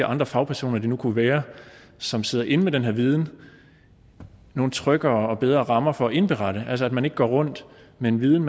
andre fagpersoner det nu kunne være som sidder inde med den her viden nogle tryggere og bedre rammer for at indberette at man altså ikke går rundt med en viden